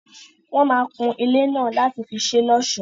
Wọ́n máa kun ilé náà láti fi ṣé l'ọ́sọ̀.